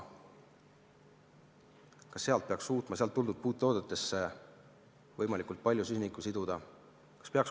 Kas ta peaks suutma sealt tulnud puidutoodetesse võimalikult palju süsinikku siduda?